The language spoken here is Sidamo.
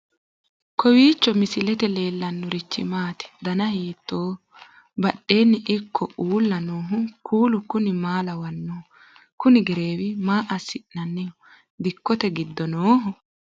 kowiicho misilete leellanorichi maati ? dana hiittooho ?abadhhenni ikko uulla noohu kuulu kuni maa lawannoho? kuno gereewi maa assi'nanniho dikkote giddo nooho?